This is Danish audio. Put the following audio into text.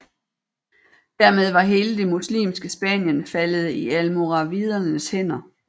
Dermed var hele det muslimske Spanien faldet i almoravidernes hænder